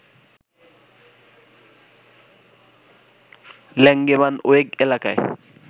Langebaanweg এলাকায়